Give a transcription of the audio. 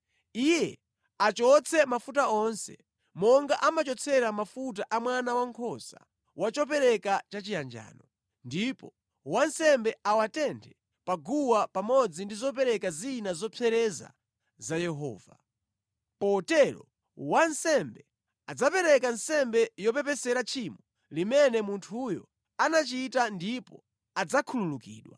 Iye achotse mafuta onse, monga amachotsera mafuta a mwana wankhosa wa chopereka chachiyanjano, ndipo wansembe awatenthe pa guwa pamodzi ndi zopereka zina zopsereza za Yehova. Potero, wansembe adzapereka nsembe yopepesera tchimo limene munthuyo anachita ndipo adzakhululukidwa.